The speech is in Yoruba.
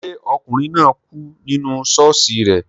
Ṣé ọkùnrin náà kú nínú ṣọ́ọ̀ṣì rẹ